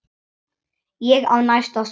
Ég á næsta skref.